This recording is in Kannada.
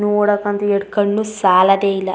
ನೋಡಕ್ ಅಂತು ಎರಡು ಕಣ್ಣು ಸಾಲದೆ ಇಲ್ಲಾ .